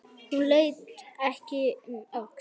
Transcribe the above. Hún leit ekki um öxl.